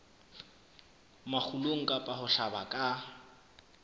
makgulong kapa ho hlaba ka